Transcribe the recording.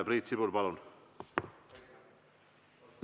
Priit Sibul, palun!